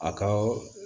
A ka